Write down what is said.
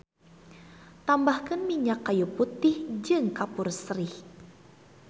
Tambahkeun minyak kayu putih jeung kapur sirih.